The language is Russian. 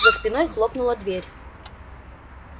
за спиной хлопнула дверь